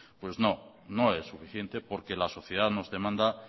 pues no no es suficiente porque la sociedad nos demanda